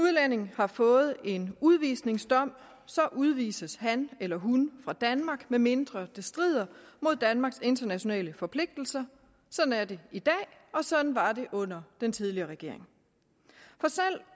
udlænding har fået en udvisningsdom så udvises han eller hun fra danmark medmindre det strider mod danmarks internationale forpligtelser sådan er det i dag og sådan var det under den tidligere regering